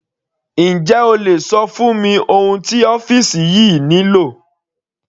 Njẹ́ o lè ṣọ fún mi ohun tí ọ́fìsì yìí nílò?